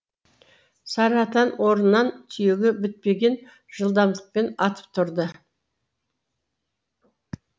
сары атан орнынан түйеге бітпеген жылдамдықпен атып тұрды